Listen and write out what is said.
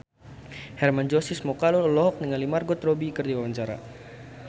Hermann Josis Mokalu olohok ningali Margot Robbie keur diwawancara